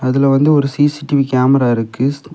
இதுல வந்து ஒரு சிசிடிவி கேமரா இருக்கு.